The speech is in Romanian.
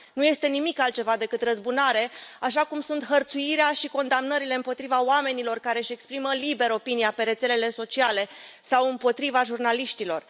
Nu este nimic altceva decât o răzbunare, așa cum sunt hărțuirea și condamnările împotriva celor care își exprimă liber opinia pe rețelele sociale sau împotriva jurnaliștilor.